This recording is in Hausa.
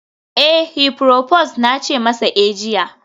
eh, heproposed na ce masa eh jiya